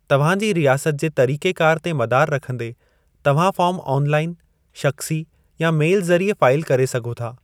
तव्हां जी रियासत जे तरीक़ेकार ते मदारु रखंदे, तव्हां फ़ार्म आन लाइन, शख़्सी, या मैल ज़रिए फाईल करे सघो था।